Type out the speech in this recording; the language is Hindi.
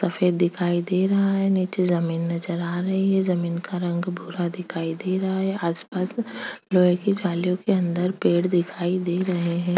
सफेद दिखाई दे रहा है नीचे जमीन नजर आ रही है जमीन का रंग भूरा दिखाई दे रहा है आसपास लोहे की जालियों के अंदर पेड़ दिखाई दे रहे हैं।